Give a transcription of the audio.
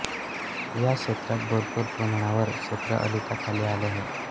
या क्षेत्रात भरपूर प्रमाणावर क्षेत्र ओलिताखाली आले आहे